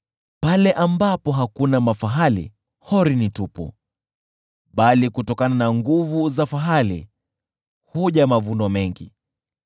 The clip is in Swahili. Pale ambapo hakuna mafahali, hori ni tupu, bali kutokana na nguvu za fahali huja mavuno mengi.